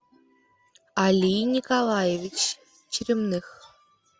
алий николаевич черемных